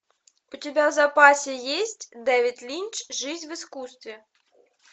у тебя в запасе есть дэвид линч жизнь в искусстве